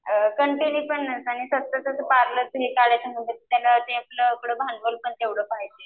आणि कंटिन्यू पण नसतं आणि त्याचं पार्लरचा करायचं म्हणजे तेवढं पुढं भांडवल पण पाहिजे.